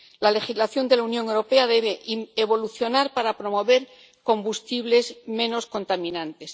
La legislación de la Unión Europea debe evolucionar para promover combustibles menos contaminantes.